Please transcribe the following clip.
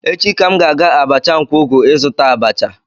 Echi ka m ga-aga abacha nkwogu izuta abacha.